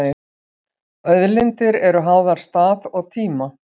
Auðlindir eru háðar stað og tíma.